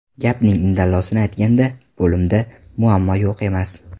Gapning indallosini aytganda, bo‘limda muammo yo‘q emas.